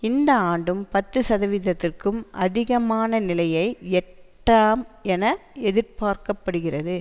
இந்த ஆண்டும் பத்து சதவீதத்திற்கும் அதிகமான நிலையை எட்டாம் என எதிர்பார்க்க படுகிறது